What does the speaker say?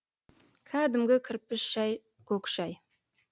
кәдімгі кірпіш шай көк шай